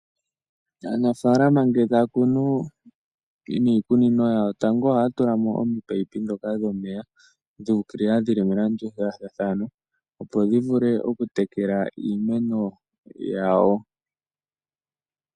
Aanafaalama nge taya kunu miikunino yawo, tango ohaya tulamo oopaipi dhoka dhomeya, dhu ukilila dhili melandulathano opo dhi vule oku tekela iimeno yawo.